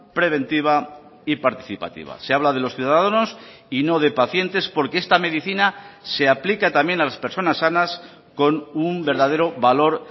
preventiva y participativa se habla de los ciudadanos y no de pacientes porque esta medicina se aplica también a las personas sanas con un verdadero valor